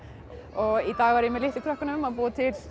og í dag er ég með litlu krökkunum að búa til